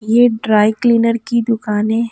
ये dry cleaner की दुकानें --